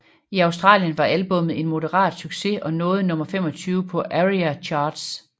I Australien var albummet en moderat succes og nåede nummer 25 på ARIA Charts